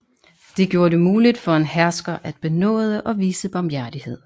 Det gjorde det muligt for en hersker at benåde og vise barmhjertighed